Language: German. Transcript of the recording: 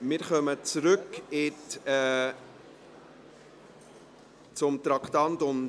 Wir kehren zurück zu Traktandum 30.